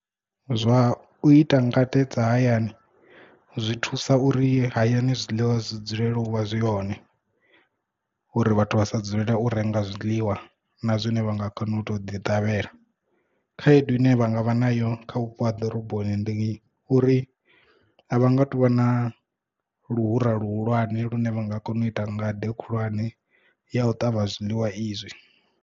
Zwa u ita ngade dza hayani zwi thusa uri hayani zwiḽiwa zwi dzulele u vha zwi hone uri vhathu vha sa dzulela u renga zwiḽiwa na zwine vha nga kona u to ḓi ṱavhela khaedu ine vha nga vha nayo kha vhupo ha ḓoroboni ndi uri a vha nga tuvha na luhura luhulwane lune vha nga kona u ita ngade khulwane ya u ṱavha zwiḽiwa izwi.